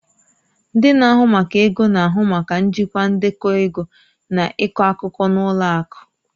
Ndị na-ahụ maka ego na-ahụ maka njikwa ndekọ ego na ịkọ akụkọ na ụlọ akụ